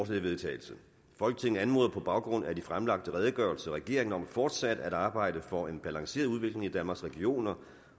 til vedtagelse folketinget anmoder på baggrund af de fremlagte redegørelser regeringen om fortsat at arbejde for en balanceret udvikling i danmarks regioner